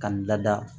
Ka n lada